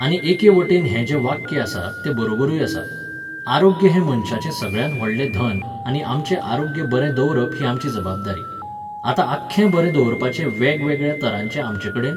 आनी एके वटेन हें जें वाक्य आसा, तें बरोबरूय आसा. आरोग्य हें मनशाचें सगळ्यांत व्हडलें धन आनी आमचें आरोग्य बरें दवरप ही आमची जबाबदारी. आतां आख्खें बरें दवरपाचे वेगवेगळ्या तरांचे आमचेकडेन